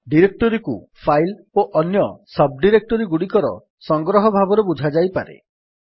ଡିରେକ୍ଟୋରୀକୁ ଫାଇଲ୍ ଓ ଅନ୍ୟସବ୍ ଡିରେକ୍ଟୋରୀଗୁଡିକର ସଂଗ୍ରହ ଭାବରେ ବୁଝାଯାଇପାରେ